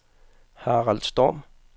Harald Storm